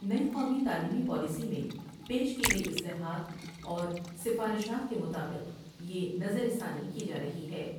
نئی قومی تعلیمی پالیسی میں پیش کی گئی اصلاحات اور سفارشات کے مطابق یہ نظر ثانی کی جارہی ہے ۔